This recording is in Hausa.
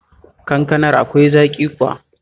Kankanar akwai zaƙi kuwa?